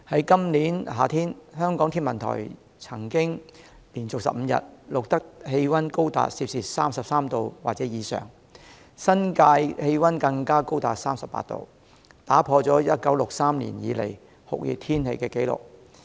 今年夏天，香港天文台曾連續15天錄得氣溫高達 33°C 或以上，新界氣溫更高達 38°C， 打破了1963年以來的酷熱天氣紀錄。